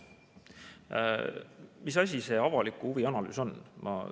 Mis asi see avaliku huvi analüüs on?